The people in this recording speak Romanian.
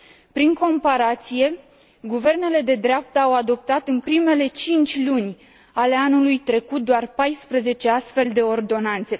Prin comparație, guvernele de dreapta au adoptat în primele 5 luni ale anului trecut doar 14 astfel de ordonanțe.